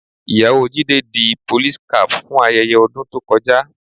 Ìyàwó Jídé di police cap fún ayẹyẹ ọdún tó kọjá